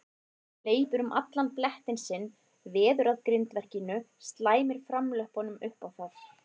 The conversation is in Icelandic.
Hleypur um allan blettinn sinn, veður að grindverkinu, slæmir framlöppunum upp á það.